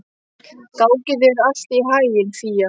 Gangi þér allt í haginn, Fía.